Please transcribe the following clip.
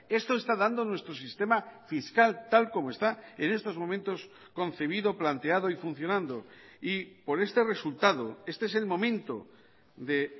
esto está dando nuestro sistema fiscal tal como está en estos momentos concebido planteado y funcionando y por este resultado este es el momento de